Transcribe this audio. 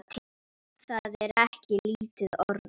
Það er ekki lítil orða!